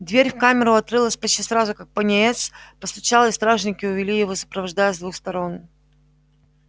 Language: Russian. дверь в камеру открылась почти сразу как пониетс постучал и стражники увели его сопровождая с двух сторон